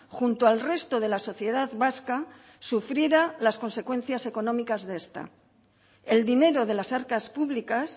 junto al resto de la sociedad vasca sufriera las consecuencias económicas de esta el dinero de las arcas públicas